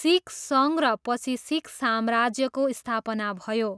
सिख सङ्घ र पछि सिख साम्राज्यको स्थापना भयो।